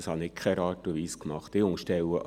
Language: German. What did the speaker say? Das habe ich in keiner Art und Weise getan.